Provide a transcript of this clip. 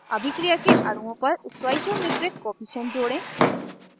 2 अभिक्रिया के अणुओं पर stoichiometric stoichiometric कोअफिशन्ट जोड़ें